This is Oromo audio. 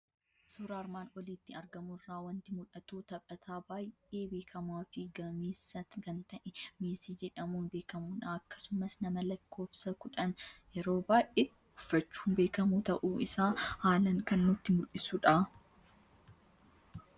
Suuraa armaan olitti argamu irraa waanti mul'atu; taphataa baay'ee beekamaafi gameessa kan ta'e, meesii jedhamun beekamudha. Akkasumas nama lakkoofsa kudhan yeroo baay'ee uffachuun beekamu ta'uu isaa haalan kan nutti mul'isudha.